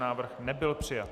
Návrh nebyl přijat